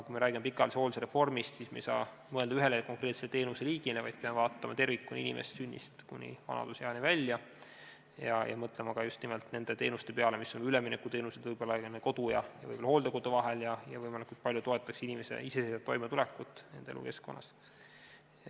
Kui me räägime pikaajalise hoolduse reformist, siis me ei saa mõelda ühele konkreetsele teenuseliigile, vaid peame vaatama inimest tervikuna, sünnist kuni vanaduseani välja, ning mõtlema just nimelt ka nende teenuste peale, mis on üleminekuteenused kodu ja hooldekodu vahel, nii et see võimalikult palju toetaks inimese iseseisvat toimetulekut nende elukeskkonnas.